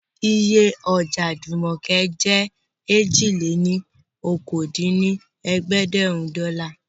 Iye Ọ̀dà Jùmọ̀kẹ́ jẹ́ èjì-lé-ní-okòó dín ní ẹ̀ẹ́dẹ́gbẹ́rún dọ́là